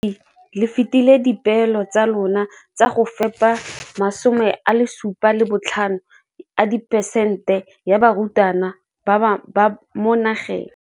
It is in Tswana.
Ka NSNP le fetile dipeelo tsa lona tsa go fepa masome a supa le botlhano a diperesente ya barutwana ba mo nageng.